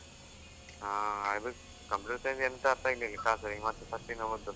ಹಾ Computer science ಎಂತ ಅರ್ಥ ಆಗ್ಲಿಲ್ಲ ಈಗ ಮತ್ತೆ first ಇಂದ ಓದ್ಬೇಕು.